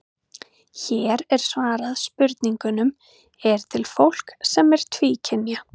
Hér er svarað spurningunum: Er til fólk sem er tvíkynja?